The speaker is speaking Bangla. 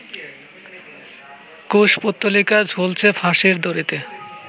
কুশপুত্তলিকা ঝুলছে ফাঁসির দড়িতে